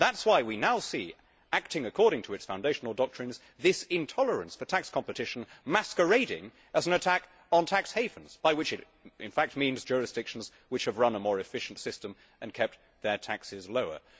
That is why we now see acting according to its foundational doctrines this intolerance for tax competition masquerading as an attack on tax havens, by which it in fact means jurisdictions which have run a more efficient system and kept their taxes lower.